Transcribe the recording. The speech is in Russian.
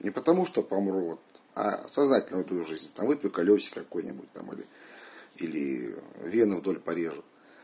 и потому что по мрот сознательную жизньдва только лёгкий какой-нибудь там или или вены вдоль порежу